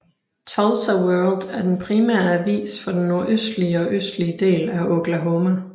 Tulsa World er den primære avis for den nordøstlige og østlige del af Oklahoma